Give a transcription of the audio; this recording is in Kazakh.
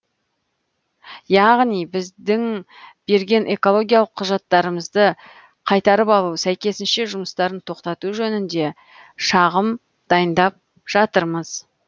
яғни біздің берген экологиялық құжаттарымызды қайтарып алу сәйкесінше жұмыстарын тоқтату жөнінде шағым дайындап жатырмыз